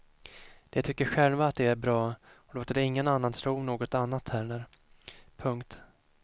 De tycker själva att de är bra och låter ingen annan tro något annat heller. punkt